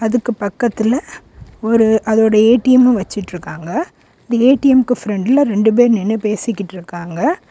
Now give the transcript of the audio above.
இதுக்கு பக்கத்துல ஒரு அதோட ஏ_டி_எம் வச்சுட்டு இருக்காங்க ஏ_டி_எம்க்கு பிரண்ட்ல ரெண்டு பேர் நின்னு பேசிட்டு இருக்காங்க.